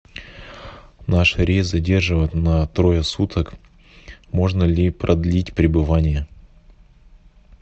наш рейс задерживают на трое суток можно ли продлить пребывание